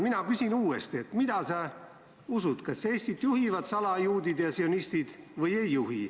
Mina küsin uuesti, mida sa usud, kas Eestit juhivad salajuudid ja sionistid või ei juhi.